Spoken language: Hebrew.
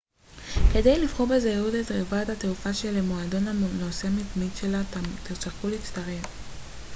כדאי לבחור בזהירות את חברת התעופה שלמועדון הנוסע המתמיד שלה תרצו להצטרף